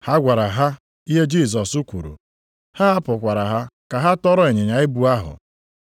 Ha gwara ha ihe Jisọs kwuru, ha hapụkwara ha ka ha tọrọ ịnyịnya ibu ahụ.